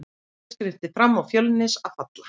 Það verður hlutskipti Fram eða Fjölnis að falla.